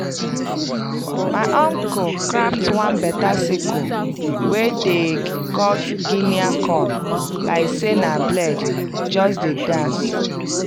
my uncle craft one beta sickle wey dey cut guinea corn like say na blade just dey dance